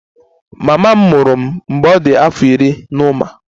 Mama m mụrụ m mgbe ọ dị afọ iri na ụma